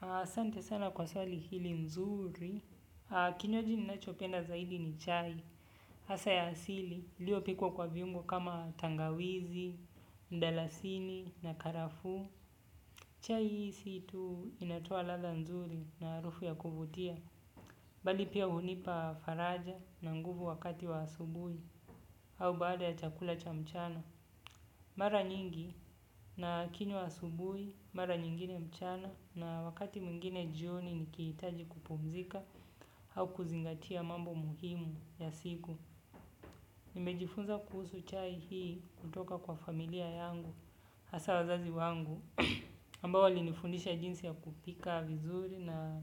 Asante sana kwa swali hili zuri. Kinywaji ninachopenda zaidi ni chai. Hasa ya asili ilio pikwa kwa viungo kama tangawizi, mdalasini na karafu. Chai hii situ inatoa ladha bzuri na harufu ya kuvutia. Bali pia hunipa faraja na nguvu wakati wa asubuhi au baada ya chakula cha mchana mara nyingi nakinywa asubuhi mara nyingine mchana na wakati mwingine jioni nikihitaji kupumzika au kuzingatia mambo muhimu ya siku nimejifunza kuhusu chai hii kutoka kwa familia yangu hasa wazazi wangu ambao walinifundisha jinsi ya kupika vizuri na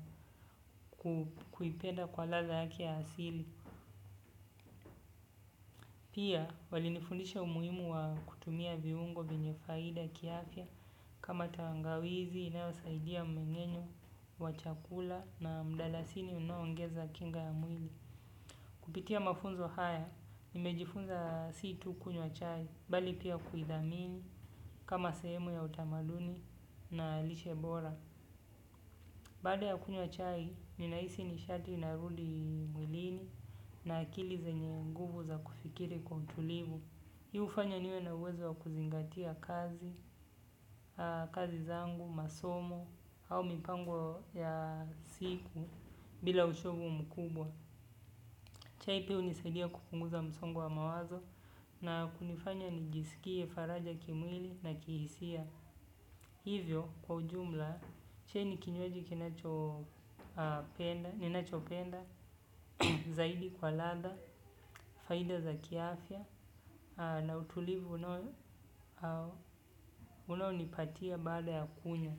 kuipenda kwa ladha yake ya asili. Pia wali nifundisha umuhimu wa kutumia viungo vyenye faida kiafya kama tangawizi inayosaidia mmeng'enyo, wachakula na mdalasini unaoongeza kinga ya mwili. Kupitia mafunzo haya, nimejifunza si tu kunywa chai bali pia kuithamini kama sehemu ya utamaduni na lishe bora. Baada ya kunywa chai, ninahisi nishati inarudi mwilini na akili zenye nguvu za kufikiri kwa utulivu. Hii hufanya niwe na uwezo wa kuzingatia kazi, kazi zangu, masomo, au mipango ya siku bila uchovu mkubwa. Chai pia hunisaidia kupunguza msongo wa mawazo na kunifanya nijisikie faraja kimwili na kihisia. Hivyo kwa ujumla, chai ni kinywaji kinacho penda ninachopenda, zaidi kwa ladha, faida za kiafya, na utulivu unonipatia baada ya kunywa.